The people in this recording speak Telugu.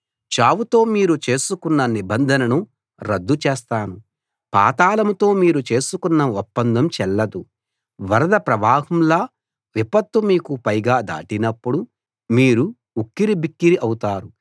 చావుతో మీరు చేసుకున్న నిబంధనను రద్దు చేస్తాను పాతాళంతో మీరు చేసుకున్న ఒప్పందం చెల్లదు వరద ప్రవాహంలా విపత్తు మీకు పైగా దాటినప్పుడు మీరు ఉక్కిరిబిక్కిరి అవుతారు